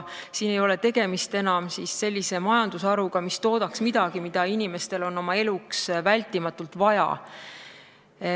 Siin ei ole tegemist enam sellise majandusharuga, mis toodaks midagi, mida inimestele on eluks vältimatult vaja.